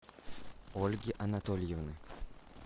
ольги анатольевны